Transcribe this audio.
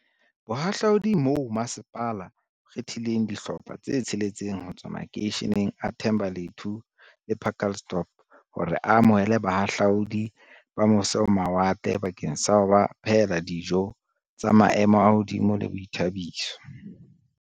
Bohahla udi mo masepala o kgethileng dihlopha tse tsheletseng ho tswa makeisheneng a Thembalethu le Pacaltsdorp hore a amohele bahahlaudi ba mo se-ho-mawatle bakeng sa ho ba phehela dijo tsa maemo a hodimo le boithabiso.